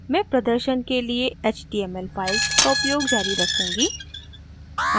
मैं प्रदर्शन के लिए html files का उपयोग जारी रखूँगी